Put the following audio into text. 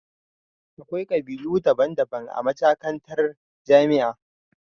Akwai kabilu daban daban a majakantar jamia